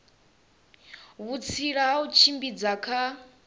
vhutsila ha u tshimbidza kha